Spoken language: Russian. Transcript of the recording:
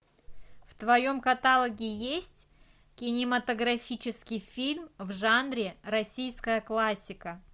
в твоем каталоге есть кинематографический фильм в жанре российская классика